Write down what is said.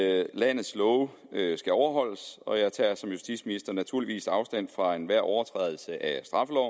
at landets love skal overholdes og jeg tager som justitsminister naturligvis afstand fra enhver overtrædelse af